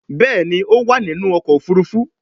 Béèni o má ninu ọkọ̀ òfurufú.